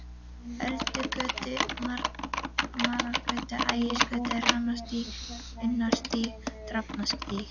Öldugötu, Marargötu, Ægisgötu, Hrannarstíg, Unnarstíg, Drafnarstíg.